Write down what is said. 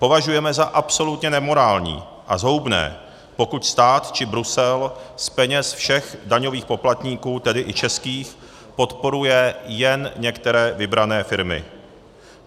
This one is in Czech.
Považujeme za absolutně nemorální a zhoubné, pokud stát či Brusel z peněz všech daňových poplatníků, tedy i českých, podporuje jen některé vybrané firmy.